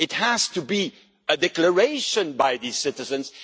has to be a declaration by the citizens.